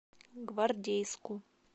гвардейску